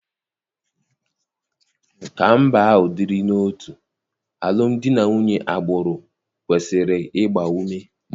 Ka mba ahụ dịrị n'otu, alụmdi na nwunye agbụrụ kwesịrị ịgba ume.